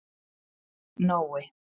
Nói